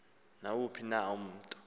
nawuphi na umntu